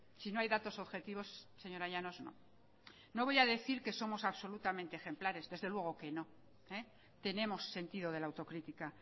si no hay datos objetivos señora llanos no no voy a decir que somos absolutamente ejemplares desde luego que no tenemos sentido de la autocrítica